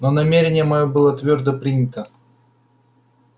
но намерение моё было твёрдо принято